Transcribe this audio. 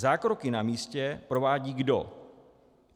Zákroky na místě provádí kdo?